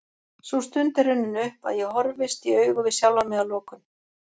Sú stund er runnin upp að ég horfist í augu við sjálfan mig að lokum.